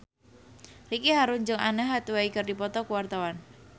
Ricky Harun jeung Anne Hathaway keur dipoto ku wartawan